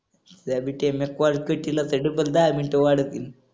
त्याबीत्याने call कटीला तर double दहा मिनिटं वाढवतील.